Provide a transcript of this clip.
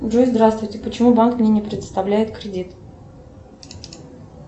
джой здравствуйте почему банк мне не предоставляет кредит